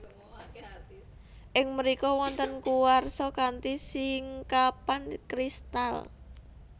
Ing mrika wonten kuarsa kanthi singkapan kristal